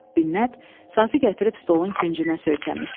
Binnət sazı gətirib stolun küncünə söykəmişdi.